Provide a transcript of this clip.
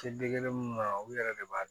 u yɛrɛ de b'a